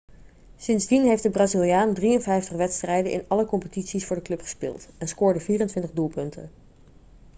sindsdien heeft de braziliaan 53 wedstrijden in alle competities voor de club gespeeld en scoorde 24 doelpunten